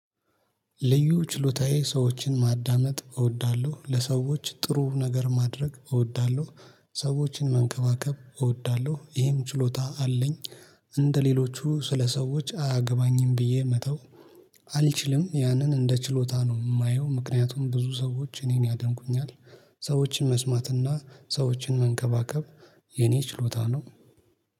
ልዩ ችሎታዬ ሰዎችን ማዳመጥ እወዳለሁ ለሰዎች ጥሩ ነገር ማድረግ እወዳለሁ ሰዎችን መንከባከብ እወዳለሁ ይሄም ችሎታ አለኝ። እንደሌሎቹ ስለሰዎች አያገባኝም ብዬ መተው። አልችልም ያንን እንደ ችሎታ ነው ማየው ምክንያቱም ብዙ ሰዎች እኔን ያደንቁኛል። ሰዎችን መስማትና ሰዎችን መንከባከብ የኔ ችሎታ ነው